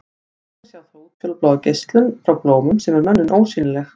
Þannig sjá þau útfjólubláa geislun frá blómum sem er mönnum ósýnileg.